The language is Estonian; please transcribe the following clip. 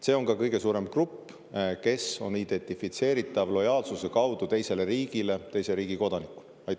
See on ka kõige suurem grupp, kes on identifitseeritav lojaalsuse kaudu teisele riigile teise riigi kodanikuna.